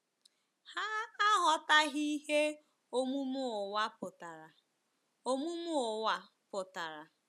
Ha aghọtaghị ihe omume ụwa pụtara. omume ụwa pụtara.